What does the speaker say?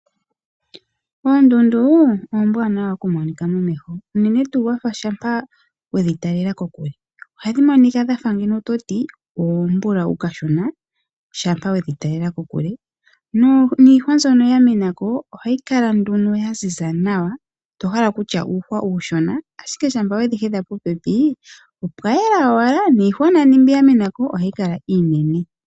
Oondundu oombwanawa okutali wa momeho uunene tuu shampa wedhi talela kokule. Oha dhi monika mgeno wa fa toti oombulawu kashona shampa wedhi talela kokule. Niihwa mbyoka ya mena ko ohayi kala nduno ya ziza nawa, to hala okutya uuhwa uushona, ashike ngele owe dhi hedha popepi opwa yela owala, niihwa nani mbi ya mena ko ohayi kala iinene.